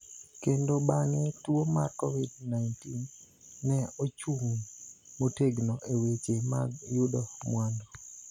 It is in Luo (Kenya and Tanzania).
kendo bang�e tuo mar Covid-19, ne ochung� motegno e weche mag yudo mwandu.